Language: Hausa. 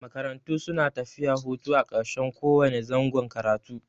Makarantu suna tafiya hutu a ƙarshen ko wane zangon karatu.